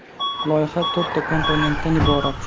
Loyiha to‘rtta komponentdan iborat.